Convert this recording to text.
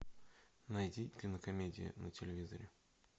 найди кинокомедии на телевизоре